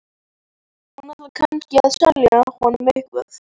Hún ætlaði kannski að selja honum eitthvað.